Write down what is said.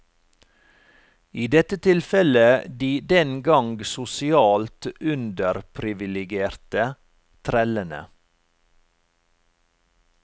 I dette tilfelle de den gang sosialt underpriviligerte, trellene.